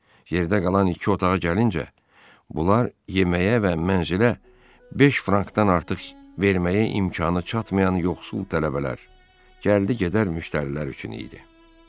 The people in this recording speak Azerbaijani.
Yerdə qalan iki otağa gəlincə, bunlar yeməyə və mənzilə 5 frankdan artıq verməyə imkanı çatmayan yoxsul tələbələr, gəldi-gedər müştərilər üçün idi.